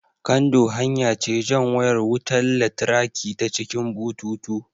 Kando hanya ce jan wayar wutan latraki ta cikin bututu